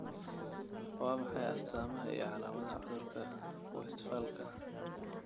Waa maxay astamaha iyo calaamadaha cudurka Westphalka?